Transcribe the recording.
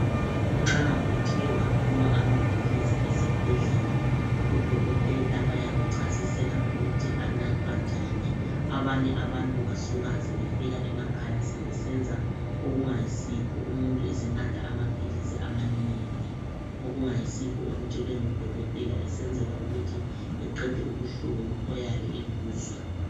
Nxa uthe waphiwa amaphilisi esibhedlela odokotela bayakuchasisela ukuthi anathwa njani, abanye abantu basuka sebefika emakhaya sebesenza okungayisikho, umuntu esenatha amaphilisi amanengi okungayisikho okutshelwe ngudokotela esenzela ukuthi eqede ubuhlungu oyabe ebuzwa.